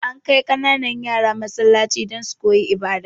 Ana kai kananan yara Masallaci don su koyi ibada